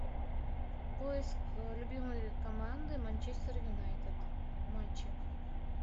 поиск любимой команды манчестер юнайтед матчи